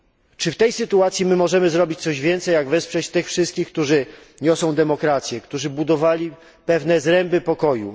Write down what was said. Czy w tej sytuacji możemy zrobić coś więcej jak wesprzeć tych wszystkich, którzy niosą demokrację, którzy budowali pewne zręby pokoju?